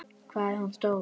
Hvað er hún stór?